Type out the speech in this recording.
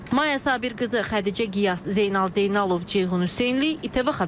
Maya Sabirqızı, Xədicə Qiyas, Zeynal Zeynalov, Ceyhun Hüseynli, ATV Xəbər.